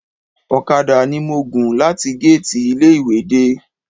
Ọ̀kadà ni mo gùn láti géètì ilé ìwé dé